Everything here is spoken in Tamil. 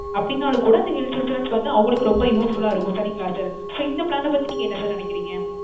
அப்பிடினாலும் கூட இந்த health insurance வந்து அவங்களுக்கும் ரொம்ப useful ஆ இருக்கும் சரிங்களா sir. sir இந்த plan பத்தி நீங்க என்ன sir நினைக்கிறீங்க?